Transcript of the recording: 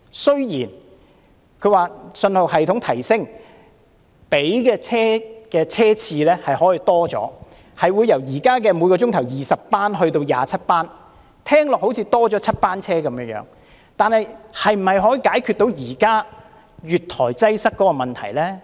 雖然說信號系統提升後可以增加車次，由現時每小時20班增至27班，聽起來好像增加了7班車，但這是否能解決現時月台擠塞的問題呢？